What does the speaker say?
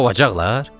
Qovacaqlar?